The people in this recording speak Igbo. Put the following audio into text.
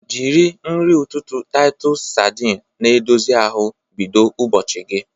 Jiri nri ụtụtụ Titus sardine na-edozi ahụ bido ụbọchị gị.